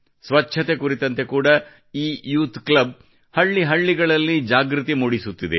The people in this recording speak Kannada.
ಸ್ವಚ್ಛತೆ ಕುರಿತಂತೆ ಕೂಡಾ ಈ ಯೂಥ್ ಕ್ಲಬ್ ಹಳ್ಳಿ ಹಳ್ಳಿಗಳಲ್ಲಿ ಜಾಗೃತಿ ಮೂಡಿಸುತ್ತಿದೆ